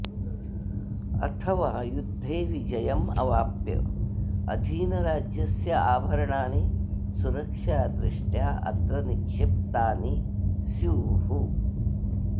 अथवा युध्दे विजयम् अवाप्य अधीनराज्यस्य आभरणानि सुरक्षा दृष्ट्या अत्र निक्षिप्तानि स्युः